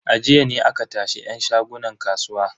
A jiya ne aka tashi yan shagunan kasuwa.